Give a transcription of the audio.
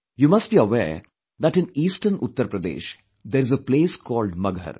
You must be aware that in eastern Uttar Pradesh, there is a place called Maghar